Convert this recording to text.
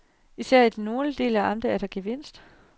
Især i den nordlige del af amtet er der gevinst.